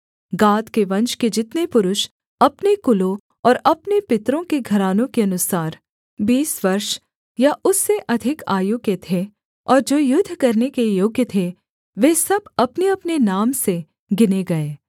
गाद के वंश के जितने पुरुष अपने कुलों और अपने पितरों के घरानों के अनुसार बीस वर्ष या उससे अधिक आयु के थे और जो युद्ध करने के योग्य थे वे सब अपनेअपने नाम से गिने गए